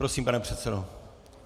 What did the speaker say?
Prosím, pane předsedo.